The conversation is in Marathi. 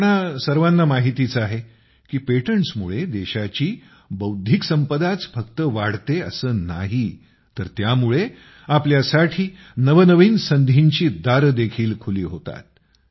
आपल्या सर्वांना माहितीच आहे की पेटंटसमुळे देशाची बौद्धिक संपदाच फक्त वाढते असे नाही तर त्यामुळे आपल्यासाठी नवनवीन संधींची दारेदेखील खुली होतात